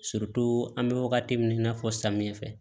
an bɛ wagati min na i n'a fɔ samiyɛ fɛ